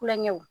Kulonkɛw